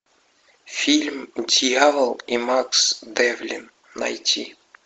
фильм дьявол и макс девлин найти